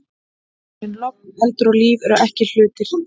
En logn, eldur og líf eru ekki hlutir.